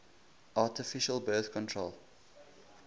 artificial birth control